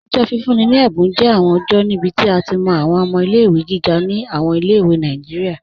Ọjọ́ fífún ni è̩bùn jẹ́ awọn ọjọ́ níbí tí a ti mọ́ awọn ọmọ̀ ilé-ìwé gígà ni awọn ilé-ìwé Nàìjíríà.